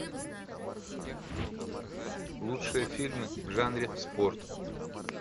лучшие фильмы в жанре спорт